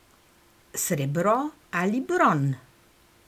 Srebro ali bron.